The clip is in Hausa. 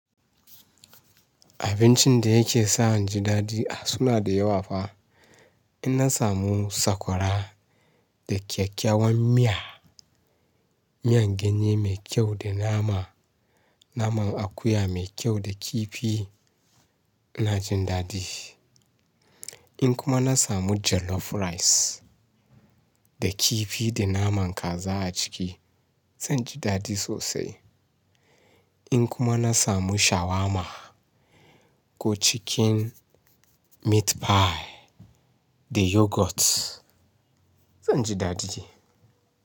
Abincin da yake sa in ji daɗi a suna da yawa fa. In na samu sakwara da kyakkyawan miya, miyan ganye mai kyau da nama, naman akuya mai kyau da kifi, ina jin daɗi. In kuma na samu jollof rice da kifi da naman kaza a ciki, zan ji daɗi sosai. In kuma na samu shawarma ko chicken meat pie da yoghurt, zan ji daɗi.